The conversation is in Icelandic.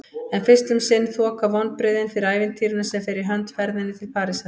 En fyrst um sinn þoka vonbrigðin fyrir ævintýrinu sem fer í hönd: ferðinni til Parísar.